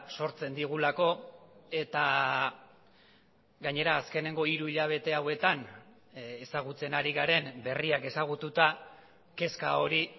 sortzen digulako eta gainera azkeneko hiru hilabete hauetan ezagutzen ari garen berriak ezagututa kezka hori